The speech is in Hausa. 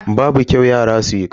Babu kyau yara su yi ƙarya.